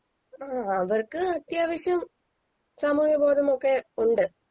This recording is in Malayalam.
അ ആ അവർക്ക് അത്യാവശ്യം സാമൂഹിക ബോധമൊക്കെ ഉണ്ട്